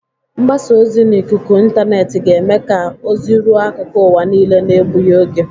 Mgbasa ozi n'ikuku intaanet ga-eme ka ozi ruo akụkụ ụwa niile na-ebughi oge.